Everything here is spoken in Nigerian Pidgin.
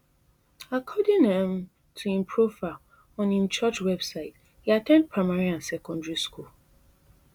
according um to im profile on im church website e at ten d primary and secondary school